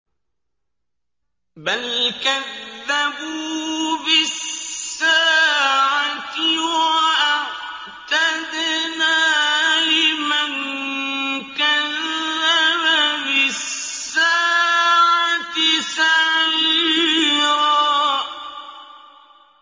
بَلْ كَذَّبُوا بِالسَّاعَةِ ۖ وَأَعْتَدْنَا لِمَن كَذَّبَ بِالسَّاعَةِ سَعِيرًا